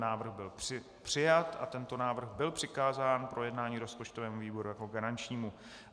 Návrh byl přijat a tento návrh byl přikázán k projednání rozpočtovému výboru jako garančnímu.